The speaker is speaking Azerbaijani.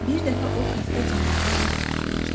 Bir dəfə o xəstə canavara lap yaxınlaşdı.